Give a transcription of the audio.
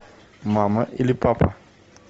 мама или папа